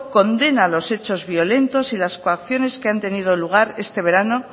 condena los hechos violentos y las coacciones que han tenido lugar este verano